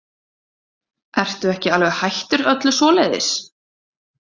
Ertu ekki alveg hættur öllu svoleiðis?